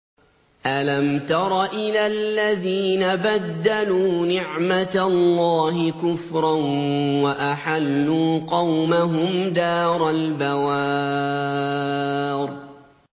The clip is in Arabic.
۞ أَلَمْ تَرَ إِلَى الَّذِينَ بَدَّلُوا نِعْمَتَ اللَّهِ كُفْرًا وَأَحَلُّوا قَوْمَهُمْ دَارَ الْبَوَارِ